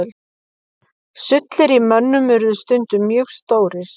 Sullir í mönnum urðu stundum mjög stórir.